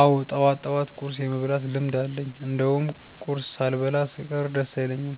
አዎ ጠዋት ጠዋት ቁርስ የመብላት ልምድ አለኝ እንደውም ቁርስ ሳልበላ ስቀር ደስ አይለኝም።